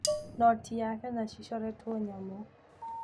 Noti ya Kenya cicoretwo nyamũ.